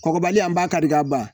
Kɔkɔbali an b'a kari ka ban